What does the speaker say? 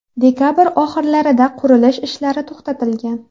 Dekabr oxirlarida qurilish ishlari to‘xtatilgan.